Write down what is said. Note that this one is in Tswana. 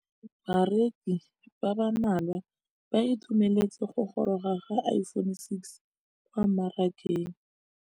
Bareki ba ba malwa ba ituemeletse go gôrôga ga Iphone6 kwa mmarakeng.